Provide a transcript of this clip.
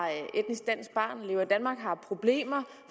problemer